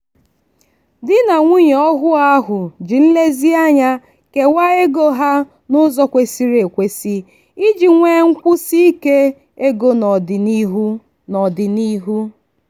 di na nwunye ọhụụ ahụ ji nlezianya kewaa ego ha n'ụzọ kwesịrị ekwesị iji nwee nkwụsiike ego n'ọdịnihu. n'ọdịnihu.